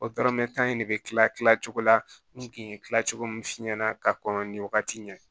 ne bɛ kila tila cogo la n kun ye tila cogo min f'i ɲɛna ka kɔn nin wagati ɲɛ